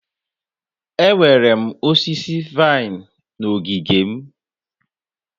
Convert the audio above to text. Enwere m osisi vine na ogige m.